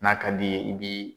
N'a ka di i ye, i bi